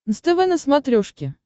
нств на смотрешке